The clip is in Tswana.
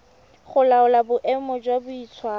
go laola boemo jwa boitshwaro